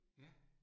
Ja